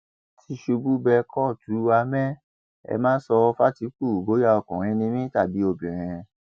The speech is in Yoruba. tìṣubù bẹ kóòtù àmẹ ẹ má sọ fàtìkù bóyá ọkùnrin ni mí tàbí obìnrin